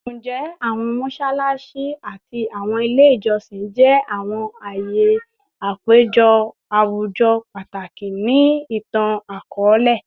Njẹ awọn mọṣalaṣi ati awọn ile ijọsin jẹ awọn aaye apejọ awujọ pataki ni itan-akọọlẹ?